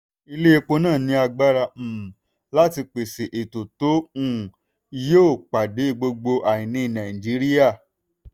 ilé epo náà ní agbára um láti pèsè epo tó um yóò pàdé gbogbo àìní nàìjíríà.